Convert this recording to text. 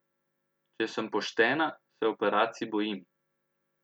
Če sem poštena, se operacij bojim.